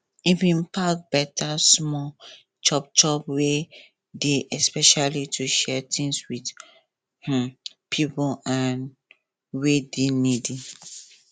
e bin pack beta small chop chop wey dey especially to share things with um pipo um wey dey needy